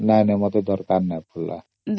ନା ନା ମୋତେ ଦରକାର ପଡିନି ଏଯାଏଁ